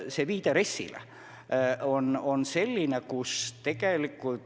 Siin viidati RES-ile.